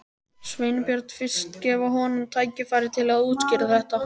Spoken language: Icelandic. Sveinbjörn fyrst, gefa honum tækifæri til að útskýra þetta.